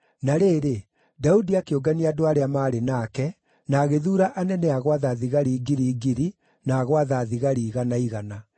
Na rĩrĩ, Daudi akĩũngania andũ arĩa maarĩ nake, na agĩthuura anene a gwatha thigari ngiri ngiri na a gwatha thigari igana igana.